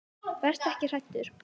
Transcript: Vertu ekki hræddur.